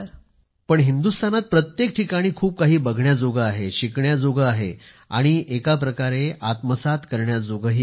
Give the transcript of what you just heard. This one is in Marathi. पण हिंदुस्थानात प्रत्येक ठिकाणी खूप काही बघण्याजोगे आहे शिकण्याजोगे आहे आणि एका प्रकारे मन प्रसन्न करण्याजोगे आहे